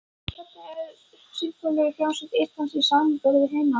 Hvernig er Sinfóníuhljómsveit Íslands í samanburði við hinar?